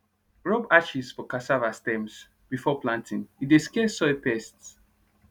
rub ashes for cassava stems before planting e dey scare soil pests